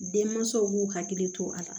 Denmansaw b'u hakili to a la